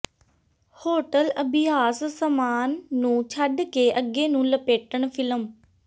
hotel ਅਭਿਆਸ ਸਾਮਾਨ ਨੂੰ ਛੱਡ ਕੇ ਅੱਗੇ ਨੂੰ ਲਪੇਟਣ ਫਿਲਮ